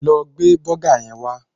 Lọ gbé bọ́gà yẹn wá